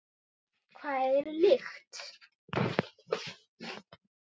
Hvað er lykt?